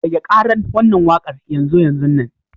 Rage ƙaran wannan waƙar yanzu yanzunnan.